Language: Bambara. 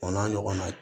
O n'a ɲɔgɔnnaw